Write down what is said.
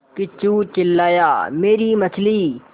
किच्चू चिल्लाया मेरी मछली